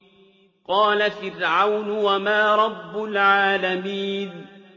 قَالَ فِرْعَوْنُ وَمَا رَبُّ الْعَالَمِينَ